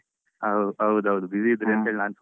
ಹಾ ಹೌದು ಹೌದು busy ಇದ್ರಿಂತೇಳಿ ಹ.